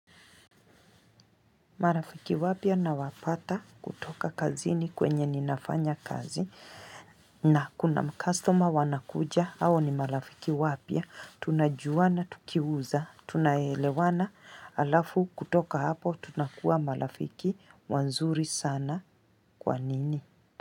Marafiki wapya nawafuata kutoka kazini kwenye ninafanya kazi. Na kuna mkastoma wanakuja, hao ni marafiki wapya, tunajuana tukiuza, tunaelewana, halafu kutoka hapo tunakuwa marafiki wazuri sana kwa nini.